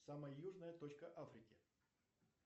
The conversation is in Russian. самая южная точка африки